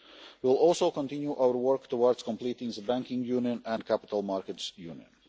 We will also continue our work towards completing the banking union and capital markets union.